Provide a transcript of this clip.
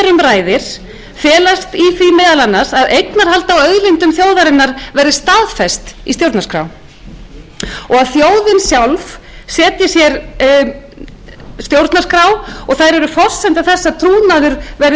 ræðir felast meðal annars í því að eignarhald á auðlindum þjóðarinnar verði staðfest í stjórnarskrá og að þjóðin sjálf setji sér stjórnarskrá og þær eru forsenda þess að trúnaður verði byggður upp